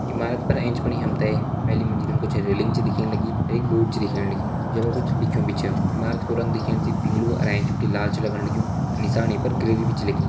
इमारत पर फणी हम ते पहली मंजिल मा कुछ रेलिंग छ दिखेण लगीं एक बोर्ड छ दिखेण लग्युं जै पर कुछ लिख्युं भी छा इमारत कु रंग दिखेण से पिंगलु अर एंच बिटि लाल छ लगण लग्युं अ नीसाण ये पर ग्रिल्ल भी छ लगीं।